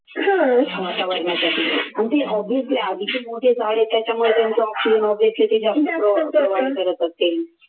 आणि ते obviously करत असतील